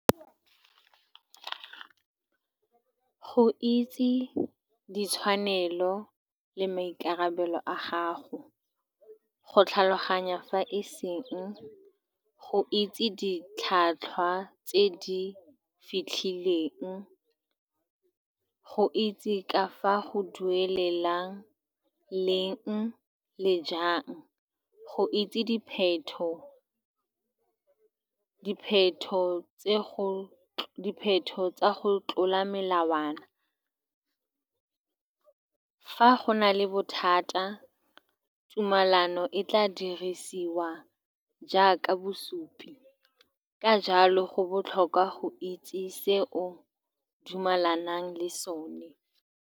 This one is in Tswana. Go itse ditshwanelo le maikarabelo a gago, go tlhaloganya fa e seng go itse ditlhwatlhwa tse di fitlhileng, go itse ka fa go duelelang leng le jang, go itse dipheto-dipheto tse, go dipheto tsa go tlola melawana. Fa go nale bothata, tumalano e tla dirisiwa jaaka bosupi. Ka jalo, go botlhokwa go itse se o dumalanang le sone.